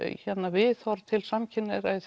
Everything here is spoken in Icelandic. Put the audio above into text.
viðhorf til samkynhneigðra í